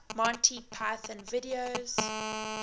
monty python videos